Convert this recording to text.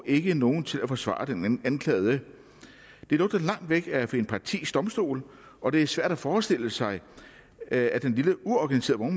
ikke er nogen til at forsvare den anklagede det lugter langt væk af en partisk domstol og det er svært at forestille sig at den lille uorganiserede